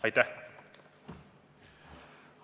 Aitäh!